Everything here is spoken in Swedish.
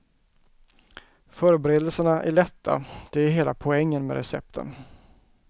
Förberedelserna är lätta, det är hela poängen med recepten.